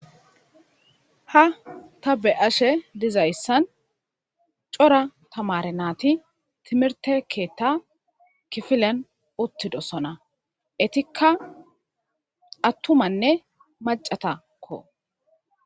Ha ta be'ashe dizayssan cora tamaare naati timirte keetta kifilen uttidosona. Etikka attumatanne maccatakko.